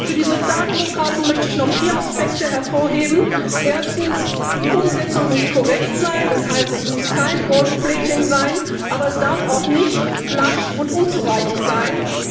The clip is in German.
Für die Sozialdemokraten möchte ich noch vier Aspekte hervorheben. Erstens Die Umsetzung muss korrekt sein, das heißt, es muss kein gold plating sein, aber es darf auch nicht lasch und unzureichend sein.